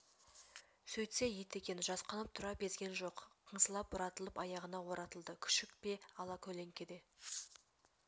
сөйтсе ит екен жасқанып тұра безген жоқ қыңсылап бұратылып аяғына оратылды күшік пе алакөлеңкеде